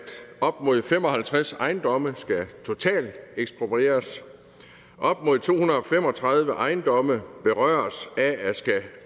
op mod fem og halvtreds ejendomme skal totalt eksproprieres op mod to hundrede og fem og tredive ejendomme berøres af at skulle